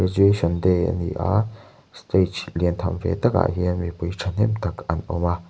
day ani a stage lian tham ve takah hian mipui ṭhahnem tak an awm a.